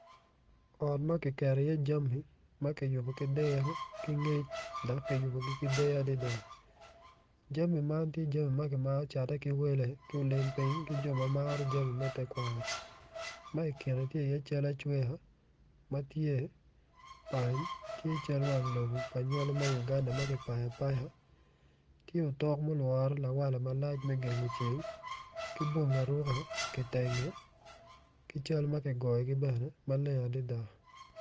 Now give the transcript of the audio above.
Co aryo co man gitye i yeya dok gin gitye ka mako rec gin gitye ka tic ki goli ma odone tye mabit kun giyuto ki rec piny i kabedo man tye ma ocidde dok tye otyeno mapol tye ka nen makwar kun tye dero pa deng madong tye kutyeno ma ceng opoto woko.